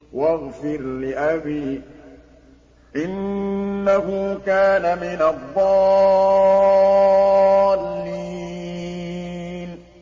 وَاغْفِرْ لِأَبِي إِنَّهُ كَانَ مِنَ الضَّالِّينَ